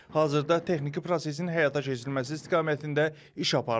Hazırda texniki prosesin həyata keçirilməsi istiqamətində iş aparılır.